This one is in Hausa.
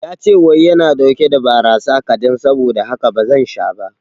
Yace wai yana ɗauke da barasa kaɗan saboda haka bazan sha ba